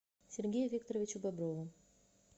сергею викторовичу боброву